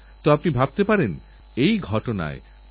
রাতারাতি কেউ খেলোয়োড় হয়ে যায় না